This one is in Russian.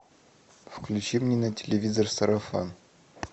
включи мне на телевизор сарафан